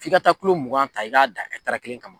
F'i ka taa kulo mugan ta i k'a dan ɛtaari kelen kan.